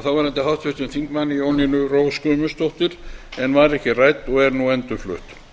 af þáverandi háttvirtum þingmanni jónínu rós guðmundsdóttur en var ekki rædd og er nú endurflutt